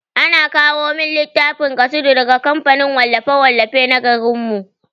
Ana kawo min littafin kasidu daga kamfanin wallafe-wallafe na garin mu.